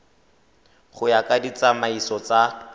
go ya ka ditsamaiso tsa